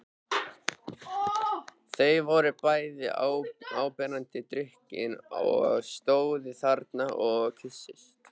Þau voru bæði áberandi drukkin og stóðu þarna og kysstust.